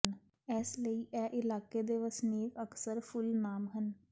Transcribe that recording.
ਇਸ ਲਈ ਇਹ ਇਲਾਕੇ ਦੇ ਵਸਨੀਕ ਅਕਸਰ ਫੁੱਲ ਨਾਮ ਹਨ